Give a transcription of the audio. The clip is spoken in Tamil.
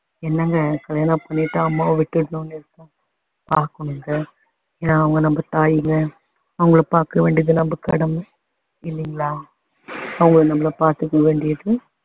என்னங்க கல்யாணம் பண்ணிட்டா அம்மாவ விட்டுடணும்னு இருக்கா ஏன்னா அவங்க நம்ம தாய்ல அவங்கள பாக்க வேண்டியது நம்ம கடமை இல்லிங்களா அவங்கள நம்ம பாத்துக்க வேண்டியது